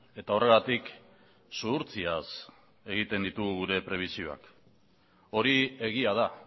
eta horregatik zuhurtziaz egiten ditugu gure prebisioak hori egia da